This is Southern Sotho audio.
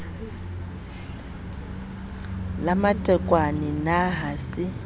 la matekwane na ha se